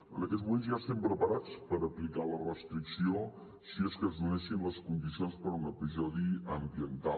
en aquests moments ja estem preparats per aplicar la restricció si és que es donen les condicions per a un episodi ambiental